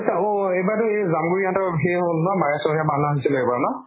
অʼ এইবাৰ তো জামগুৰি হঁতৰ সেই হʼল ন হৈছিল ন ?